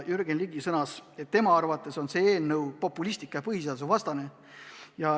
Jürgen Ligi sõnas, et tema arvates on see eelnõu populistlik ja põhiseadusvastane.